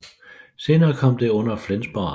Senere kom det under Flensborg Amt